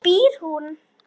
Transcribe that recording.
Hvar býr hún?